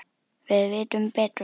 Við vitum betur.